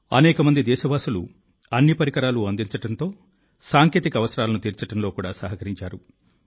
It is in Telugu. చాలా మంది దేశస్థులు అన్ని భాగాలు సాంకేతిక అవసరాలను తీర్చడంలో సహకరించారు